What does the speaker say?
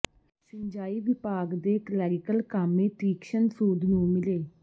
ਸਿੰਜਾਈ ਵਿਭਾਗ ਦੇ ਕਲੈਰੀਕਲ ਕਾਮੇ ਤੀਕਸ਼ਣ ਸੂਦ ਨੂੰ ਮਿਲੇ